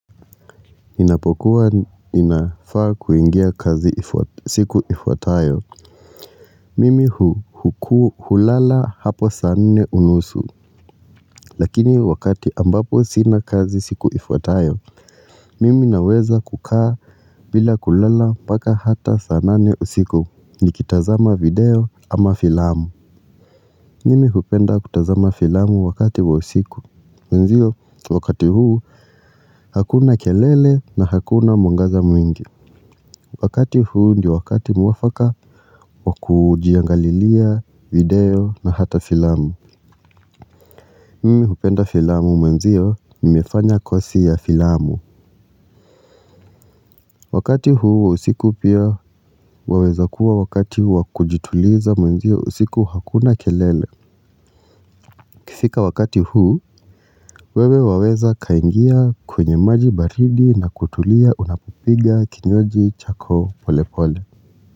Ninapokuwa ninafaa kuingia kazi siku ifuatayo mimi hulala hapo saa nne unusu lakini wakati ambapo sina kazi siku ifuatayo mimi naweza kukaa bila kulala paka hata saa nane usiku, nikitazama video ama filamu mimi hupenda kutazama filamu wakati wa usiku, wenzio wakati huu hakuna kelele na hakuna mwangaza mwingi. Wakati huu ndiyo wakati mwafaka wakujiangalilia video na hata filamu. Mimi hupenda filamu, mwenzio nimefanya kosi ya filamu. Wakati huu wa usiku pia waweza kuwa wakati wakujituliza, mwenzio usiku hakuna kelele. Ikifika wakati huu, wewe waweza kuingia kwenye maji baridi na kutulia unapopiga kinywaji chako polepole.